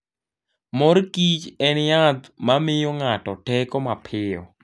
Mor Kichen yath ma miyo ng'ato teko mapiyo.